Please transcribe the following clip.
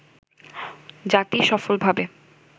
জাতি সফলভাবে